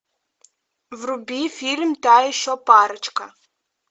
вруби фильм та еще парочка